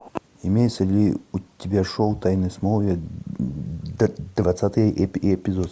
имеется ли у тебя шоу тайны смолвиля двадцатый эпизод